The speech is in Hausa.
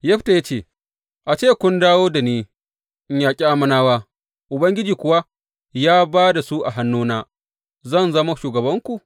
Yefta ya ce, A ce kun dawo da ni in yaƙi Ammonawa, Ubangiji kuwa ya ba da su a hannuna, zan zama shugabanku?